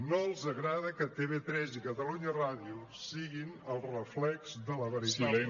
no els agrada que tv3 i catalunya ràdio siguin el reflex de la veritable